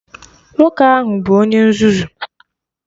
Nwoke ahụ bụ Onye nzuzu!